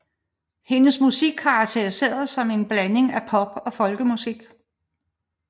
Hendes musik karakteriseres som en blanding af pop og folkemusik